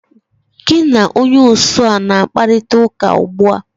Gi na onye osu ọ na akparịtaụka ụgbụa?